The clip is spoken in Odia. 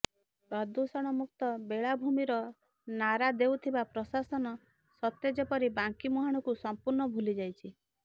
ପ୍ରଦୂଷଣମୁକ୍ତ ବେଳାଭୂମିର ନାରା ଦେଉଥିବା ପ୍ରଶାସନ ସତେ ଯେପରି ବାଙ୍କୀ ମୁହାଣକୁ ସଂପୂର୍ଣ୍ଣ ଭୁଲିଯାଇଛି